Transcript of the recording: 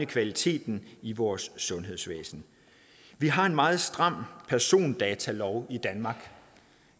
kvaliteten i vores sundhedsvæsen vi har en meget stram persondatalov i danmark og